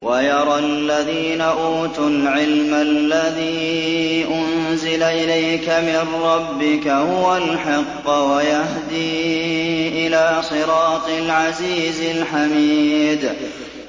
وَيَرَى الَّذِينَ أُوتُوا الْعِلْمَ الَّذِي أُنزِلَ إِلَيْكَ مِن رَّبِّكَ هُوَ الْحَقَّ وَيَهْدِي إِلَىٰ صِرَاطِ الْعَزِيزِ الْحَمِيدِ